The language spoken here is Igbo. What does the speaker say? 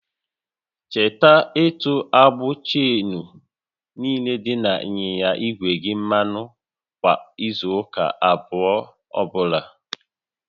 Cheta ịtụ agbụ cheenu niile dị n'ịnyịnya igwe gị mmanụ kwa izu ụka abụọ ọbụla